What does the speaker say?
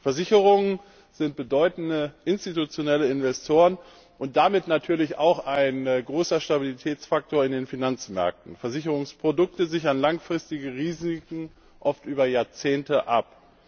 Versicherungen sind bedeutende institutionelle Investoren und damit natürlich auch ein großer Stabilitätsfaktor in den Finanzmärkten. Versicherungsprodukte sichern langfristige Risiken oft über Jahrzehnte ab.